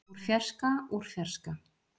úr fjarska úr fjarska.